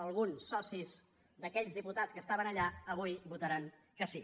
alguns socis d’aquells diputats que estaven allà votaran que sí